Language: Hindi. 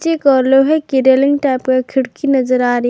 एक ओर लोहे की रेलिंग टाइप का खिड़की नजर आ रही--